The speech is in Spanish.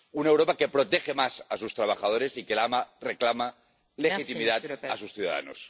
Una Europa que protege más a sus trabajadores y que reclama legitimidad a sus ciudadanos.